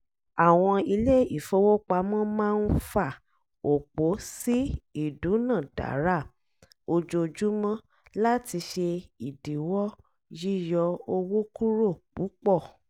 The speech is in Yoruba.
àwọn ilé-ifowópamọ́ máa ń fà òpó sí ìdúnàdàrà ojoojúmọ́ láti ṣe ìdíwọ̀ yíyọ owó kúrò púpọ̀